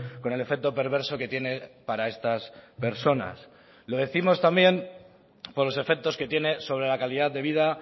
con el efecto perverso que tiene para estas personas lo décimos también por los efectos que tiene sobre la calidad de vida